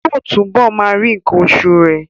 Yóò túbọ̀ máa rí nǹkan oṣù rẹ̀